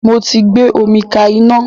Mo tí gbé omi ká iná